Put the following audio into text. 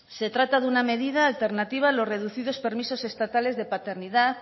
se trata de una medida alternativa a lo reducidos permisos estatales de paternidad